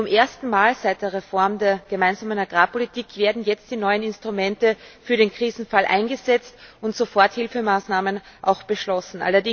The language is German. Zum ersten Mal seit der Reform der Gemeinsamen Agrarpolitik werden jetzt die neuen Instrumente für den Krisenfall eingesetzt und Soforthilfemaßnahmen auch beschlossen.